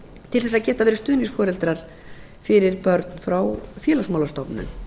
til þess að geta verið stuðningsforeldrar fyrir börn frá félagsmálastofnun